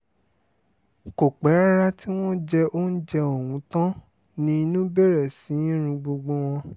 kò pẹ́ rárá tí wọ́n jẹ oúnjẹ ọ̀hún tán ni inú bẹ̀rẹ̀ sí í run gbogbo wọn